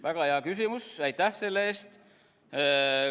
Väga hea küsimus, aitäh selle eest!